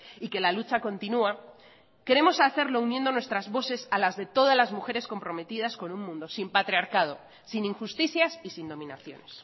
y que la lucha continúa queremos hacerlo uniendo nuestras voces a las de todas las mujeres comprometidas con un mundo sin patriarcado sin injusticias y sin dominaciones